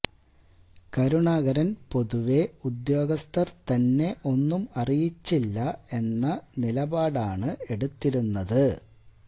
കരുണാകരൻ പൊതുവേ ഉദ്യോഗസ്ഥർ തന്നെ ഒന്നും അറിയിച്ചില്ല എന്ന നിലപാടാണ് എടുത്തിരുന്നത്